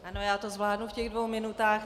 Ano, já to zvládnu v těch dvou minutách.